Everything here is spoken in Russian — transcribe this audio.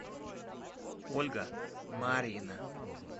ольга марьина